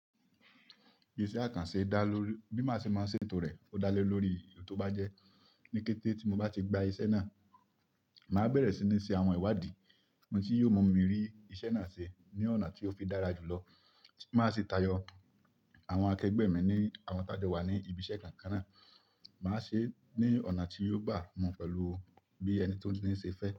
Iṣẹ́ àkànṣe dá ló bí màá ṣe máa ṣe ètò rẹ̀ ó dá lé lórí ohun tó bá jẹ́. Ni kété tí mo bá ti gba iṣẹ́ náà, màá bẹ̀rẹ̀ sí ní ṣe àwọn ìwádìí, ohun tí yóò mú mi rí iṣẹ́ náà ṣe ní ọ̀nà tí ó fi dára jùlọ. Máa ṣe tayọ àwọn akẹgbẹ́ mi ní àwọn tájo wà ní ibi iṣẹ́ kankan náà. Màá ṣe é ní ọ̀nà tí yóò bá mu pẹ̀lú bí ẹni tí ó ńi ṣe fẹ́.